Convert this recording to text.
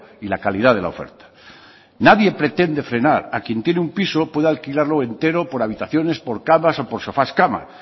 y la calidad de la oferta nadie pretende frenar a quien tiene un piso pueda alquilarlo entero por habitaciones por camas o por sofás cama